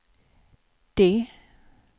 D